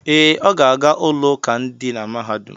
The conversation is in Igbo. Ee, Ọ ga-aga ụlọụka dị na mahadum.